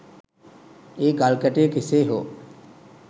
ඒ ගල්කැටය කෙසේ හෝ